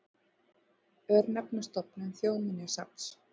Örnefnastofnun Þjóðminjasafns.